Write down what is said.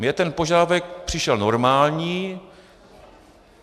Mně ten požadavek přišel normální.